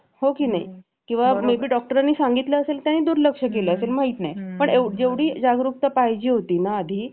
हे आपल कर्तव्य आहे प्रत्येक मुलगा योग्यच निर्णय घेईल असही नसत त्यामुळे आईवडिलांनी वेळो वेळी त्याला समजूत घालणे त्याचा सम उपदेश करणे खूप गरजेचं आहे